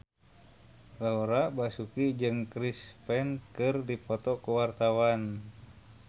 Laura Basuki jeung Chris Pane keur dipoto ku wartawan